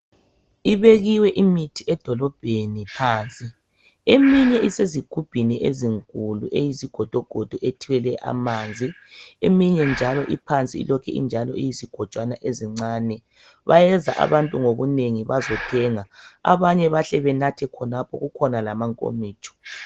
Ibekiwe imithi edolobheni phansi ,eminye isezigubhini ezinkulu eyizigodogodo ethelwe amanzi. Eminye njalo iphansi ilokhe injalo iyizigojwana ezincane. Bayeza abantu ngobunengi bazothenga abanye bahle banathe khonapho kukhona lamankomitsho.